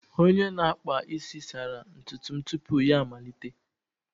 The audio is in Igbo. Onye na-akpa isi sara ntutu m tupu ya amalite